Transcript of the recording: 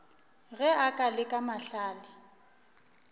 ge a ka leka mahlale